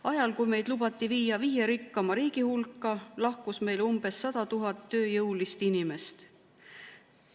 Ajal, kui meid lubati viia viie rikkaima riigi hulka, lahkus meilt umbes 100 000 tööjõulist inimest.